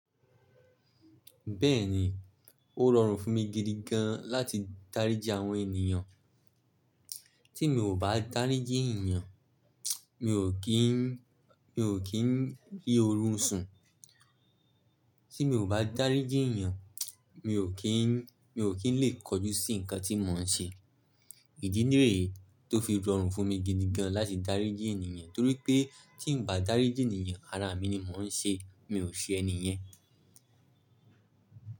Bẹ́ẹ̀ni, ó rọrùn fún mi gidi gan láti dáríji àwọn ènìyàn. Tí mi ò bá dáríji ènìyàn, mi ò kí n, mi ò kí n rí oorun sùn. Tí mi ò bá dáríji ènìyàn, mi ò kí n, mi ò kí n lè kojú sí nǹkan tí mò ń ṣe. Ìdí ní rèè tó fi rọrùn fún mi gidi gan láti dáríji ènìyàn torí pé tí n bá dáríji ènìyàn, ara mi ni mò ń ṣe, mi ò ṣe ẹniyẹn.